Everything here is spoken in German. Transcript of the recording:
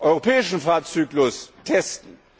dem europäischen Fahrzyklus, testen.